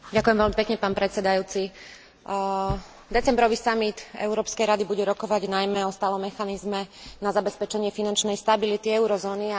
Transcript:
Decembrový samit Európskej rady bude rokovať najmä o stálom mechanizme na zabezpečenie finančnej stability eurozóny a o súvisiacej potrebe zmeny Lisabonskej zmluvy.